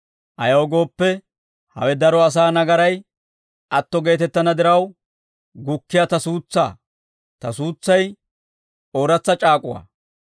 ayaw gooppe, hawe daro asaa nagaray atto geetettana diraw gukkiyaa ta suutsaa; ta suutsay ooratsa c'aak'uwaa.